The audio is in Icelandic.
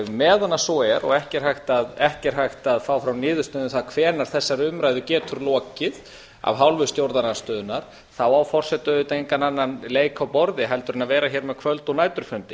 meðan svo er og ekki er hægt að fá fram niðurstöðu um það hvenær þessari umræðu getur lokið af hálfu stjórnarandstöðunnar á forseti auðvitað engan annan leik á borði en að vera hér með kvöld og næturfundi